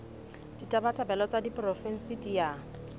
ditabatabelo tsa diporofensi di a